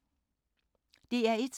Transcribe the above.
DR1